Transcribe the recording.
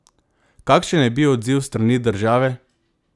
Kakšen je bil odziv s strani države?